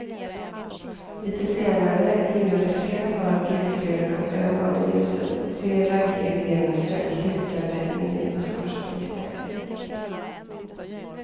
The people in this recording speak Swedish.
Litet senare glimmade flera par gulgröna ögon i ljuset, tre raggiga hyenor strök hukande in i buskaget intill vägen.